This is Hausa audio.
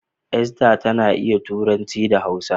Esther tana ta iya Turanci da Hausa.